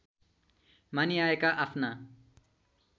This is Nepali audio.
मानिआएका आफ्ना